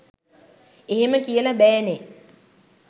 එහෙම කියල බෑනේ